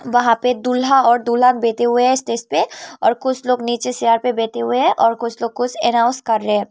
वहां पे दूल्हा और दुल्हन बैठे हुए हैं स्टेज पे और कुछ लोग नीचे चेयर पे बैठे हुए है और कुछ लोग कुछ एनाउंस कर रहे है।